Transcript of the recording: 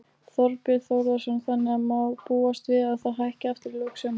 Þorbjörn Þórðarson: Þannig að má búast við að það hækki aftur í lok sumars?